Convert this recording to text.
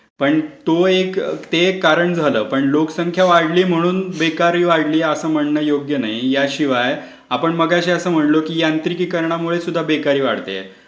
पण तो एक ते एक कारण झालं. लोकसंख्या वाढली म्हणून बेकारी वाढली असं म्हणणं योगी नाही. त्याशिवाय आपण मगाशी असं म्हणलं की यांत्रिकीकरणामुळे सुद्धा बेकारी वाढतेय.